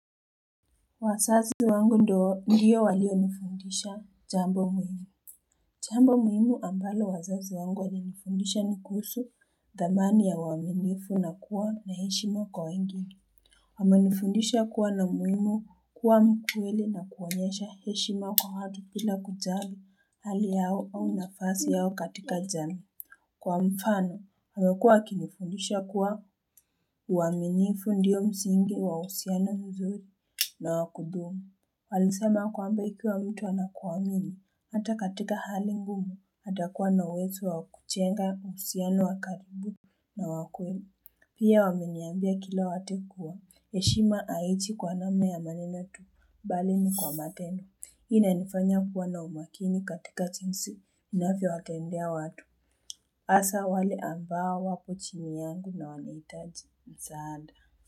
Wazazi wangu ndiyo ndiyo walio nifundisha jambo muhimu. Jambo muhimu ambalo wazazi wangu walinifundisha nikusu dhamani ya uwaminifu na kuwa na heshima kwa wengine. Wamenifundisha kuwa na umuhimu kuwa mkweli na kuonyesha heshima kwa watu bila kujali hali yao au nafasi yao katika jamii. Kwa mfano, wamekuwa wakinifundisha kuwa uwaminifu ndiyo msingi wa uhusiano mzuri na wakudumu. Walisema kwamba ikiwa mtu anakuamini, hata katika hali ngumu, atakuwa na uwezo wa kujenga uhusiano wakaribu na wakweli. Pia wameniambia kila wakati kuwa, heshima haije kwa namna ya maneno tu, bali ni kwa matendo. Hii inanifanya kuwa na umakini katika jinsi, ninavyo wakendea watu. Hasa wale ambao wapo chini yangu na wanahitaji msaada.